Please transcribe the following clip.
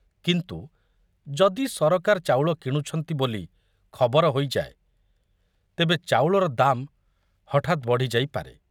କିନ୍ତୁ ଯଦି ସରକାର ଚାଉଳ କିଣୁଛନ୍ତି ବୋଲି ଖବର ହୋଇଯାଏ ତେବେ ଚାଉଳର ଦାମ ହଠାତ ବଢ଼ି ଯାଇପାରେ।